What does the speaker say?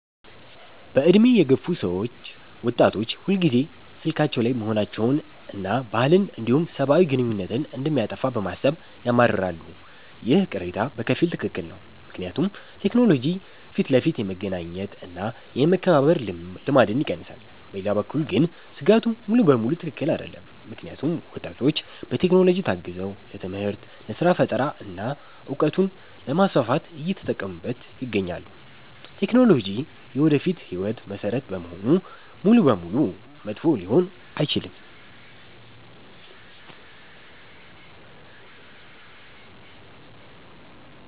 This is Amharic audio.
በዕድሜ የገፉ ሰዎች ወጣቶች ሁልጊዜ ስልካቸው ላይ መሆናቸውንና ባህልን እንዲሁም ሰብአዊ ግንኙነትን እንደሚያጠፋ በማሰብ ያማርራሉ። ይህ ቅሬታ በከፊል ትክክል ነው፤ ምክንያቱም ቴክኖሎጂ ፊት ለፊት የመገናኘት እና የመከባበር ልማድን ይቀንሳል። በሌላ በኩል ግን ስጋቱ ሙሉ በሙሉ ትክክል አይደለም፤ ምክንያቱም ወጣቶች በቴክኖሎጂ ታግዘው ለትምህርት፣ ለስራ ፈጠራ እና እውቀትን ለማስፋፋት እየተጠቀሙበት ይገኛሉ። ቴክኖሎጂ የወደፊት ህይወት መሰረት በመሆኑ ሙሉ በሙሉ መጥፎ ሊሆን አይችልም።